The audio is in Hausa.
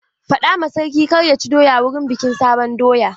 Faɗa ma sarki kar ya ci doya wurin bikin sabon doya!